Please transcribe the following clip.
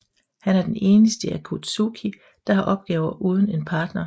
Han er den eneste i Akatsuki der har opgaver uden en partner